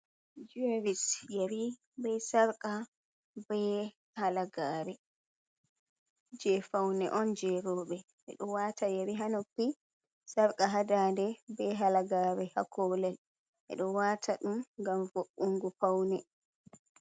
Jiweris, yeri bee sarqa bee halagaare jey fawne on jey rooɓe, ɓe ɗo waata yeri haa noppi, sarqa haa daande bee halagaare haa koolel, ɓe ɗo waata dum ngam vo’’unugo fawne